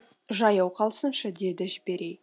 жаяу қалсыншы деді жебірей